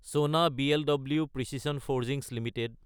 চনা BLW precision forgings Ltd